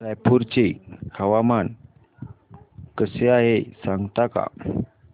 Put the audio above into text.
रायपूर चे हवामान कसे आहे सांगता का